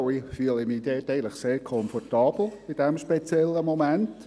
Ich fühle mich in diesem speziellen Moment dort eigentlich sehr komfortabel.